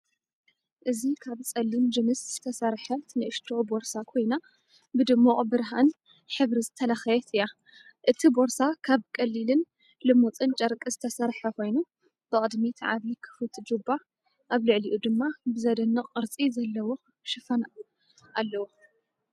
እዚ ካብ ጸሊም ጅንስ ዝተሰርሐት ንእሽቶ ቦርሳ ኮይና ብድሙቕ ብርሃን ሕብሪ ዝተለኽየት እያ። እቲ ቦርሳ ካብ ቀሊልን ልሙጽን ጨርቂ ዝተሰርሐ ኮይኑ፡ ብቕድሚት ዓቢ ክፉት ጁባ፡ ኣብ ልዕሊኡ ድማ ብዘደንቕ ቅርጺ ዘለዎ ሽፋን ኣለዎ።